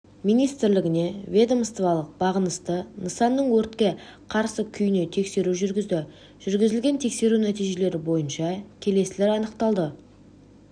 министрлігіне ведомстволық бағынысты нысанның өртке қарсы күйіне тексеру жүргізді жүргізілген тексеру нәтижелері бойынша келесілер анықталды